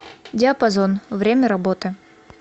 диапазон время работы